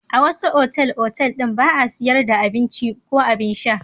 A wasu otal-otal ɗin ba a sayar da abinci ko abin sha.